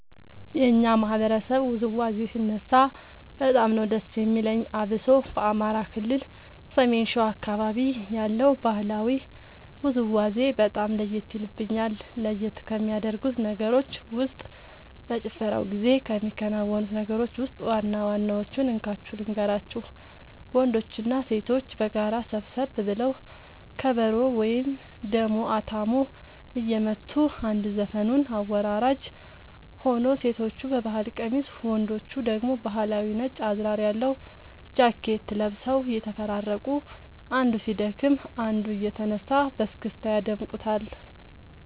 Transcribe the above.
የኛ ማህበረሰብ ውዝዋዜ ሲነሳ በጣም ነዉ ደስ የሚለኝ አብሶ በአማራ ክልል ሰሜን ሸዋ አካባቢ ያለው ባህላዊ ውዝውዜ በጣም ለየት የልብኛል። ለየት ከሚያደርጉት ነገሮች ውስጥ በጭፈራው ጊዜ ከሚከናወኑት ነገሮች ውስጥ ዋና ዋናወቹን እንካችሁ ልንገራችሁ ወንዶችና ሴቶች በጋራ ሰብሰብ ብለው ከበሮ ወይም ደሞ አታሞ እየመቱ አንድ ዘፈኑን አወራራጅ ሆኖ ሴቶቹ በባህል ቀሚስ ወንዶቹ ደግሞ ባህላዊ ነጭ አዝራር ያለው ጃኬት ለብሰው እየተፈራረቁ አንዱ ሲደክም አንዱ እየተነሳ በስክስታ ያደምቁታል